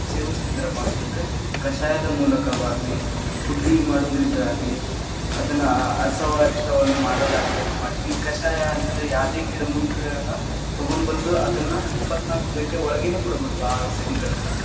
ಸೇವಸತಿದ್ರಪ್ಪಾ ಅಂತಂದ್ರ ಕಷಾಯದ ಮೂಲಕವಾಗ್ಲಿ ಮಾಡೋದ್ರಿಂದ್‌ ಆಗ್ಲಿ ಅದನ್ನ ಆ ಆ ಅಸವರಿಷ್ಟವನ್ನ ಮಾಡೋದಾಗ್ಲಿ, ಹಂಗ್‌ ಮಾಡ್ತೀದ್ವಿ. ಈ ಕಷಾಯ ಅಂತಂದ್ರ ಯಾದೇ ಗಿಡಮೂಲಿಕೆಗಳನ್ನ ತಗೊಂಡ್ ಬಂದು ಅದನ್ನ ಇಪ್ಪತ್ನಾಲ್ಕು ಘಂಟೆಒಳಗೆನ್‌ ಕೊಡಬೇಕು ಆ ಔಷಧಿಗಳನ್ನ.